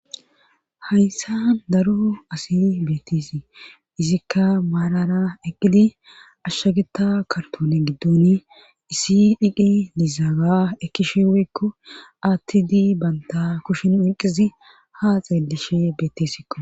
Hayssa daru asi beettisi izikka maarara eqqidi ashshageta kartone giddon isi dhiqi dizaaga ekkishe weykko aattidi banta kushin inqizi ha xeelishe beettesikqo.